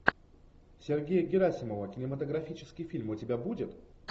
сергея герасимова кинематографический фильм у тебя будет